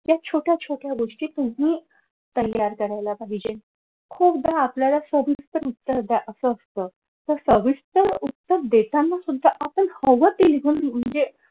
त्या छोट्या छोट्या गोष्टी तुम्ही तयार करायला पाहिजे खूपदा आपल्याला सविस्तर उत्तर द्या असं असत तर सविस्तर उत्तर देताना सुद्धा आपण हवं ते लिहून म्हणजे